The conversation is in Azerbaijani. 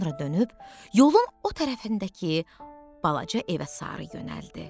Sonra dönüb yolun o tərəfindəki balaca evə sarı yönəldi.